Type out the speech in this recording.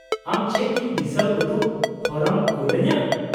-ᱟᱢ ᱪᱮᱫ ᱤᱧ ᱫᱤᱥᱟᱹ ᱩᱫᱩᱜ ᱦᱚᱨᱟᱢ ᱠᱩᱞ ᱟᱹᱧᱟᱹ ?